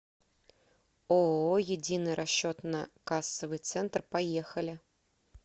ооо единый расчетно кассовый центр поехали